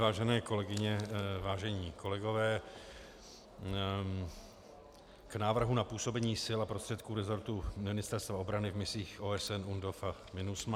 Vážené kolegyně, vážení kolegové, k návrhu na působení sil a prostředků rezortu Ministerstva obrany v misích OSN UNDOF a MINUSMA.